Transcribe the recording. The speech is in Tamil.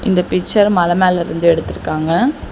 இந்த பிச்சர் மல மேல இருந்து எடுத்துருக்காங்க.